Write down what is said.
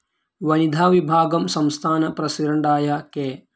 വനിതാ വിഭാഗം സംസ്ഥാന പ്രസിഡന്റായ കെ.